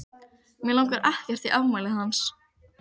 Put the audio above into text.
Mig langar ekkert í afmælið hans.